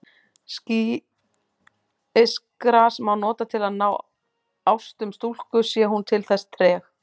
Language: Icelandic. Sýkisgras má nota til að ná ástum stúlku sé hún til þess treg.